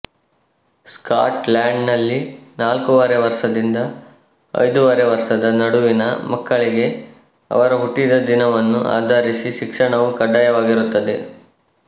Scott land ನಲ್ಲಿ ನಾಲ್ಕೂವರೆ ವರ್ಷದಿಂದ ಐದೂವರೆ ವರ್ಷದ ನಡುವಿನ ಮಕ್ಕಳಿಗೆ ಅವರ ಹುಟ್ಟಿದ ದಿನವನ್ನು ಆಧರಿಸಿ ಶಿಕ್ಷಣವು ಕಡ್ಡಾಯವಾಗಿರುತ್ತದೆ